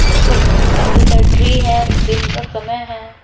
ऊपर काफी सारे ट्री हैं दिन का समय है।